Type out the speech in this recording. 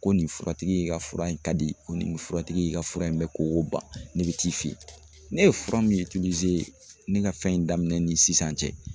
Ko nin furatigi in ka fura in ka di ko nin furatigi in ka fura in bɛ koko ban ne bɛ t'i fɛ yen ne ye fura min ne ka fɛn in daminɛ ni sisan cɛ